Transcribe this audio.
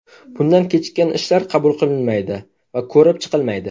Bundan kechikkan ishlar qabul qilinmaydi va ko‘rib chiqilmaydi.